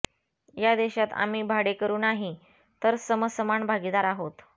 या देशात आम्ही भाडेकरू नाही तर समसमान भागीदार आहोत